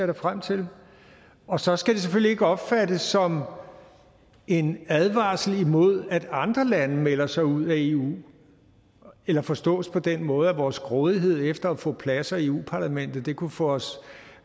da frem til og så skal det selvfølgelig ikke opfattes som en advarsel imod at andre lande melder sig ud af eu eller forstås på den måde at vores grådighed efter at få pladser i europa parlamentet kunne få os